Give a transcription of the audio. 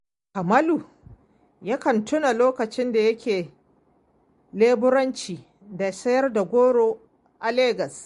Kamalu yakan tuna lokacin da yake leburanci da sayar da goro a legas